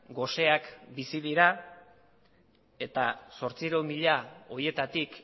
goseak bizi dira eta zortziehun mila horietatik